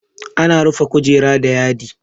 Ana rufe kujera da yadi.